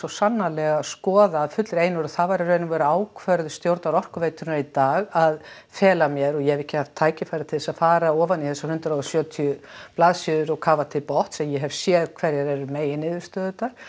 sannarlega skoða af fullri einurð og það var í raun og veru ákvörðun stjórnar Orkuveitunnar í dag að fela mér og ég hef ekki haft tækifæri til þess að fara ofan í þessar hundrað og sjötíu blaðsíður og kafa til botns en ég hef séð hverjar eru meginniðurstöðurnar